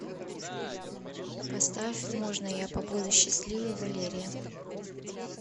поставь можно я побуду счастливой валерия